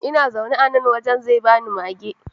Ina zaune a nan, waye zai bani mage?